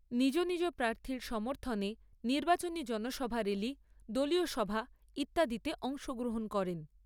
নিজ নিজ প্রার্থীর সমর্থনে নির্বাচনী জনসভা র্যালি, দলীয় সভা ইত্যাদিতে অংশগ্রহণ করেন।